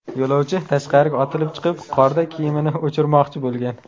Yo‘lovchi tashqariga otilib chiqib qorda kiyimini o‘chirmoqchi bo‘lgan.